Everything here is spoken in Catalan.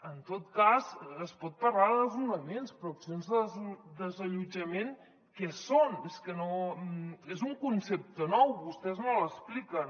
en tot cas es pot parlar de desnonaments però accions de desallotjament què són és un concepte nou vostès no l’expliquen